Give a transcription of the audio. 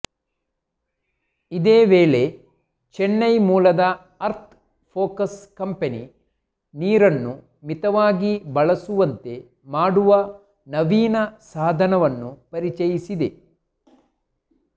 ಇದೇ ವೇಳೆ ಚೆನ್ನೈ ಮೂಲದ ಅರ್ಥ್ ಫೋಕಸ್ ಕಂಪೆನಿ ನೀರನ್ನು ಮಿತವಾಗಿ ಬಳಸುವಂತೆ ಮಾಡುವ ನವೀನ ಸಾಧನವನ್ನು ಪರಿಚಯಿಸಿದೆ